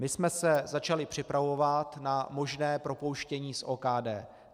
My jsme se začali připravovat na možné propouštění z OKD.